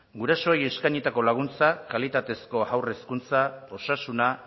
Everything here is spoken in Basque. gure eskainitako laguntza kalitatezko haur hezkuntza osasuna